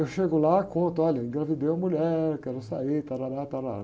Eu chego lá, conto, olha, engravidei uma mulher, quero sair, tarará, tarará.